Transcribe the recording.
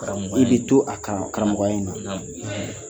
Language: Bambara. kana to a kan kanakunya in na